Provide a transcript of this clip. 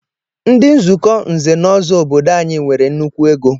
Ndị nzukọ nze na ọzọ obodo anyị nwere nnukwu ego